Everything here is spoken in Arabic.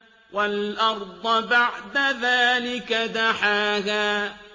وَالْأَرْضَ بَعْدَ ذَٰلِكَ دَحَاهَا